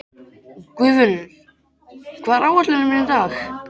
Guðfinnur, hvað er á áætluninni minni í dag?